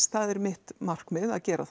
það er mitt markmið að gera